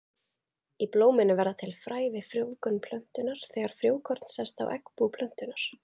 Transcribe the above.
Í blóminu verða til fræ við frjóvgun plöntunnar, þegar frjókorn sest á eggbú plöntunnar.